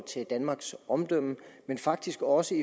til danmarks omdømme men faktisk også